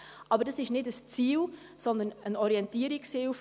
Aber dies ist kein Ziel, sondern eine Orientierungshilfe.